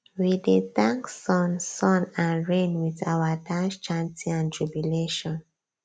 we dey thank sun sun and rain with our dance chanting and jubilation